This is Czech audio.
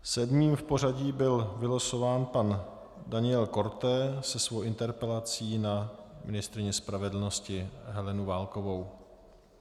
Sedmým v pořadí byl vylosován pan Daniel Korte se svou interpelací na ministryni spravedlnosti Helenu Válkovou.